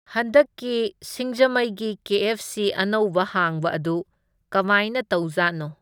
ꯍꯟꯗꯛꯀꯤ ꯁꯤꯡꯖꯃꯩꯒꯤ K F C ꯑꯅꯧꯕ ꯍꯥꯡꯕ ꯑꯗꯨ ꯀꯃꯥꯏꯅ ꯇꯧꯖꯥꯠꯅꯣ꯫